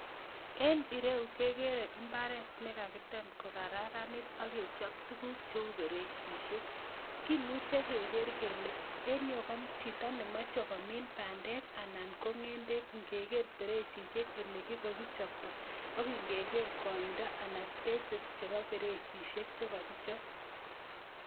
En ireu kegeere imbaaret nekakiteem ko kararanit ak kechob tuguuk cheu beresisiek. Kimuche kegeer kele en ireyu ko chito nemoche komiin bandek ana ko ngendek ingekeer beresisiek olekokichoptoo ak kigeer ingeger koindo anan napasisiek chekokichop